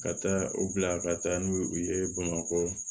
Ka taa u bila ka taa n'u ye u ye bamakɔ